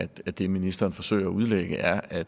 det ministeren forsøger at udlægge er at